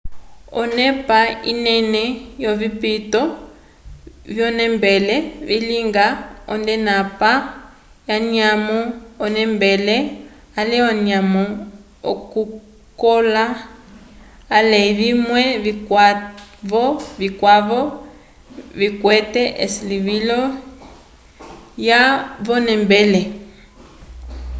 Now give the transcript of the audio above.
onepa inene yovipito vyonembele vilingiwa nd'onepa yanyamo yonembele ale anyamo yokukola ale vimwe vikwavo vikwete esilivilo lyalwa v'onembele